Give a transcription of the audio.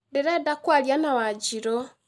Ndĩrenda kwaria na Wanjirũ